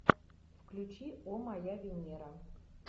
включи о моя венера